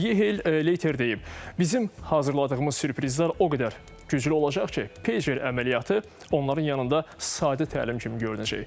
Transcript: Yehiel Leiter deyib: Bizim hazırladığımız sürprizlər o qədər güclü olacaq ki, Pager əməliyyatı onların yanında sadə təlim kimi görünəcək.